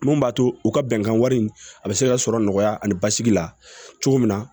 Mun b'a to u ka bɛnkan wari in a bɛ se ka sɔrɔ nɔgɔya ani basigi la cogo min na